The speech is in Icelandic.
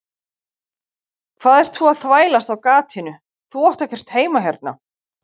Hvað ert þú að þvælast á gatinu, þú átt ekkert heima hérna.